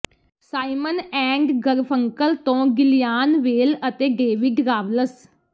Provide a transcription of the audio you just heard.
Simon and Garfunkel ਤੋਂ Gillian Welch ਅਤੇ David Rawls